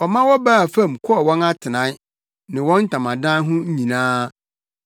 Ɔma wɔbaa fam kɔɔ wɔn atenae, ne wɔn ntamadan ho nyinaa.